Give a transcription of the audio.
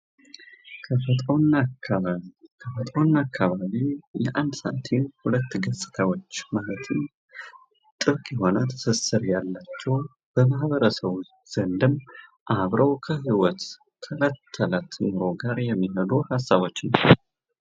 ተፈጥሮና አካባቢ ተፈጥሮና አካባቢ የአንድ ሳንቲም ሁለት ገጽታዎች ማለትም ጥብቅ የሆነ ትስስር ያላቸው በማህበረሰቡ ዘንድም አብረው ከህይወት ከእለት እለት ኑሮ ጋር የሚኖሩ ሀሳቦች